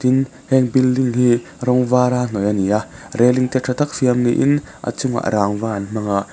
heng building hi rawng vara hnawih a ni a railing te tha taka siam niin a chungah rangva an hmang a.